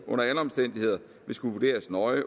vil skulle vurderes nøje